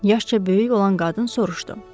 Yaşca böyük olan qadın soruşdu.